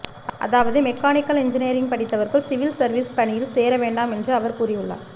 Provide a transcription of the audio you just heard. அதாவது mechanical engineering படித்தவர்கள் civil service பணியில் சேர வேண்டாம் என்று அவர் கூறியுள்ளார்